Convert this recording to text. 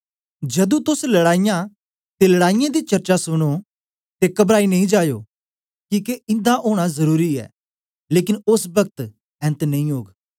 जदूं तोस लड़ाईयां ते लड़ाईयें दी चर्चा सुनो ते घबराई नेई जायो किके इन्दा ओना जरुरी ऐ लेकन ओस पक्त ऐन्त नेई ओग